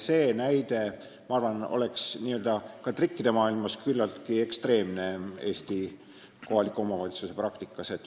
See näide, ma arvan, oleks ka trikkide maailmas küllaltki ekstreemne Eesti kohaliku omavalitsuse praktikas.